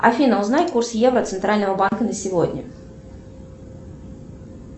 афина узнай курс евро центрального банка на сегодня